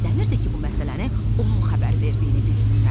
O istəmirdi ki, bu məsələni onun xəbər verdiyini bilsinlər.